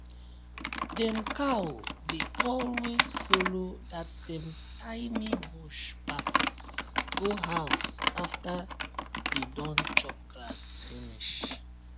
dem cow dey always follow that same tiny bush path go house after dey don chop grass finish